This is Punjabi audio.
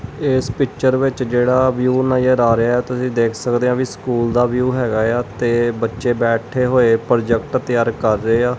ਇਸ ਪਿੱਚਰ ਵਿੱਚ ਜਿਹੜਾ ਵਿਊ ਨਜਰ ਆ ਰਿਹਾ ਤੁਸੀਂ ਦੇਖ ਸਕਦੇ ਹ ਵੀ ਸਕੂਲ ਦਾ ਵਿਊ ਹੈਗਾ ਆ ਤੇ ਬੱਚੇ ਬੈਠੇ ਹੋਏ ਪ੍ਰੋਜੈਕਟ ਤਿਆਰ ਕਰ ਰਹੇ ਆ।